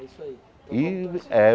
É isso aí. E é